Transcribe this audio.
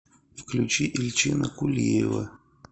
включи эльчина кулиева